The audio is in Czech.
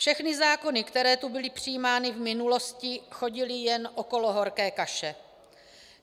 Všechny zákony, které tu byly přijímány v minulosti, chodily jen okolo horké kaše.